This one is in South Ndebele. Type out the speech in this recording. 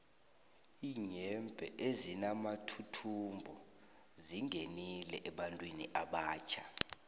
iinyembhe ezinamathuthumbo zingenile ebantwini abatjha